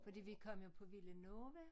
Fordi vi kom jo på Villanova